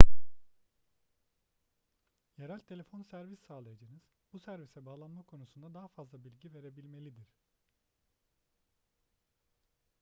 yerel telefon servis sağlayıcınız bu servise bağlanma konusunda daha fazla bilgi verebilmelidir